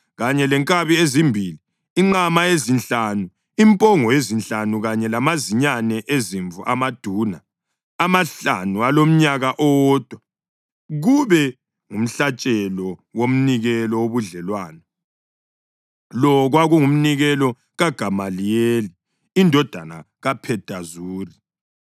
kanye lenkabi ezimbili, inqama ezinhlanu, impongo ezinhlanu kanye lamazinyane ezimvu amaduna amahlanu alomnyaka owodwa kube ngumhlatshelo womnikelo wobudlelwano. Lo kwakungumnikelo kaGamaliyeli indodana kaPhedazuri.